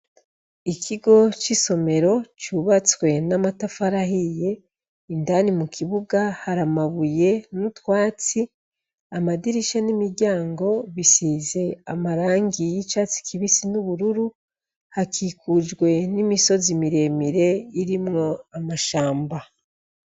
Ikigo c'isomero cubatswe n'amatafarahiye indani mu kibuga haramabuye n'utwatsi amadirisha n'imiryango bisize amarangi y'icatsi kibisi n'ubururu hakikujwe n'imisozi miremire irimwo amashamba.